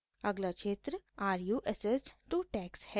अगला क्षेत्रare you assessed to tax है क्या आप कर के लिए मूल्यांकित हैं